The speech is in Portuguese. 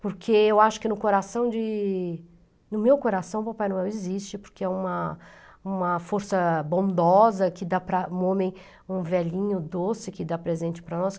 Porque eu acho que no coração de... no meu coração o Papai Noel existe, porque é uma uma força bondosa que dá para um homem, um velhinho doce que dá presente para nós.